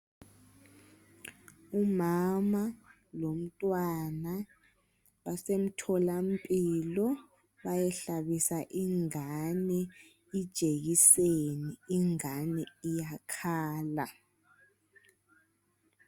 Umama lomntwana basemtholampilo bayehlabisa ingane ijekiseni. Ingane iyakhala